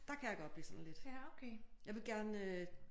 Der kan jeg godt blive sådan lidt jeg vil gerne